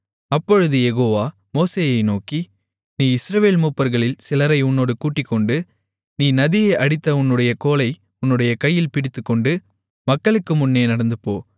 அப்பொழுது யெகோவா மோசேயை நோக்கி நீ இஸ்ரவேல் மூப்பர்களில் சிலரை உன்னோடு கூட்டிக்கொண்டு நீ நதியை அடித்த உன்னுடைய கோலை உன்னுடைய கையில் பிடித்துக்கொண்டு மக்களுக்கு முன்னே நடந்துபோ